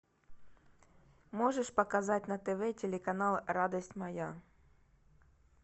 можешь показать на тв телеканал радость моя